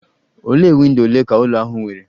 Ole windo ole ka ụlọ ahụ nwere?